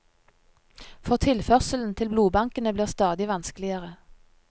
For tilførselen til blodbankene blir stadig vanskeligere.